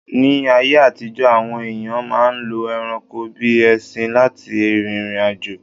Ní ayé àtijọ́, àwọn èyàn máà ń lo ẹranko bíi ẹṣin lá ti rìrìn àjò.